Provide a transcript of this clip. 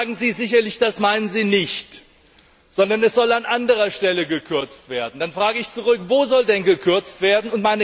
Jetzt sagen Sie sicherlich, dass Sie das nicht meinen, sondern dass an anderer Stelle gekürzt werden soll. Dann frage ich zurück Wo soll denn gekürzt werden?